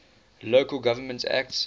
local government act